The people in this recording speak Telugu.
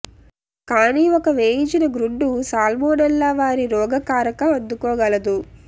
కానీ ఒక వేయించిన గ్రుడ్డు సాల్మొనెల్ల వారి రోగ కారక అందుకోగలదు